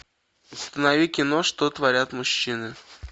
установи кино что творят мужчины